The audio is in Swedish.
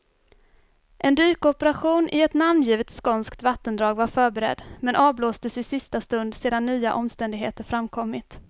En dykoperation i ett namngivet skånskt vattendrag var förberedd, men avblåstes i sista stund sedan nya omständigheter framkommit.